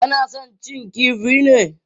Kana son cin kifi ne?